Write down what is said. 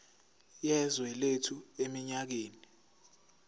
yezwe lethu eminyakeni